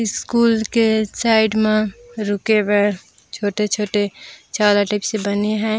School के side म रुके बर छोटे-छोटे छाता टाइप से बने है।